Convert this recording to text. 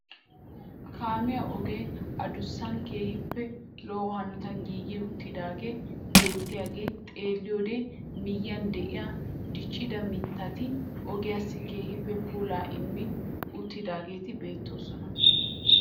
Kaamiyaa ogee adussan keehippe lo"o hanotaan giigi uttidagee beettiyaagaa xeelliyoode miyiyaan de'iyaa diccida mittati ogiyaassi keehippe puulaa immi uttidaageti beettoosona.